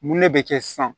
Mun ne bɛ kɛ sisan